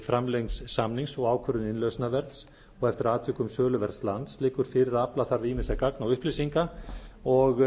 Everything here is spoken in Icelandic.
framlengd samnings og ákvörðun innlausnarverðs og eftir atvikum söluverðs lands liggur fyrir að afla þarf ýmissa gagna og upplýsinga og